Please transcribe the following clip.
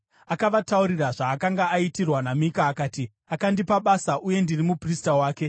Akavataurira zvaakanga aitirwa naMika, akati, “Akandipa basa uye ndiri muprista wake.”